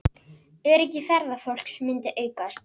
Öryggi ferðafólks myndi aukast